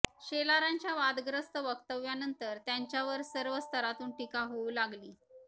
शेलारांच्या वादग्रस्त व्यक्तव्यानंतर त्यांच्यावर सर्व स्तरातून टीका होऊ लागली